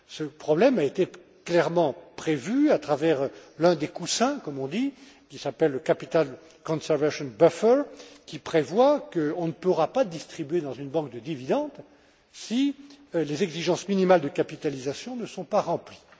Ce problème a été clairement prévu à travers l'un des coussins, comme on dit, qui s'appelle le capital conservation buffer qui prévoit qu'on ne pourra pas distribuer dans une banque de dividendes si les exigences minimales de capitalisation ne sont pas remplies.